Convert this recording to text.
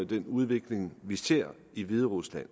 den udvikling vi ser i hviderusland